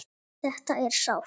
Þetta er sárt.